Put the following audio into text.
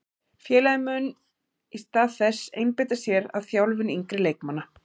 Félagið mun í stað þess einbeita sér að þjálfun yngri leikmanna.